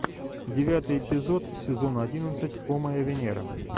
девятый эпизод сезона одиннадцать о моя венера